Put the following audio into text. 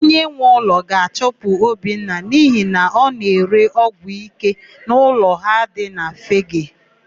Onyenweụlọ ga-achụpụ Obinna n'ihi na ọ na-ere ọgwụike n'ụlọ ha dị na Fegee.